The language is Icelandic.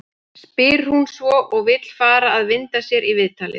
spyr hún svo og vill fara að vinda sér í viðtalið.